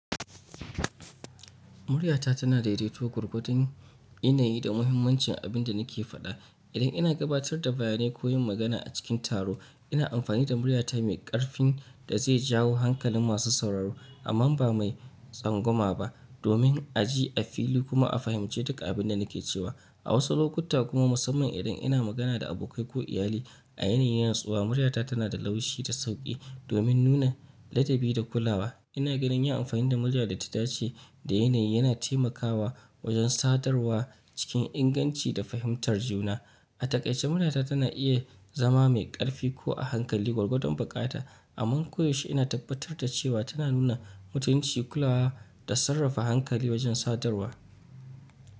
Muryata tana daidaito gwargwadon yanayi da muhimmancin abin da nake faɗa. Idan ina gabatar da bayanai ko yin magana a cikin taro, ina amfani da muryata mai ƙarfin da zai jawo hankalin masu sauraro amma ba mai tsangwama ba, domin a ji, a fili kuma a fahimci duk abin da nake cewa. A wasu lokuta kuma, musamman idan ina magana da abokai ko iyali a yanayi na natsuwa, muryata tana da laushi da sauƙi domin nuna ladabi da kulawa. Ina ganin yin amfani da murya da ta dace da yanayi yana taimakawa wajen sadarwa cikin inganci da fahimtar juna. A takaice, muryata tana iya zama mai ƙarfi ko a hankali gwargwadon buƙata, amma koyaushe ina tabbatar da cewa tana nuna mutunci, kulawa da sarrafa hankali wajen sadarwa.